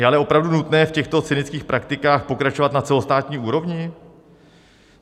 Je ale opravdu nutné v těchto cynických praktikách pokračovat na celostátní úrovni?